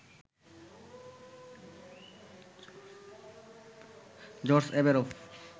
George Averoff,